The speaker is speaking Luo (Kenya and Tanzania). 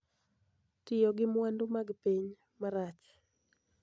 Tiyo gi mwandu mag piny marach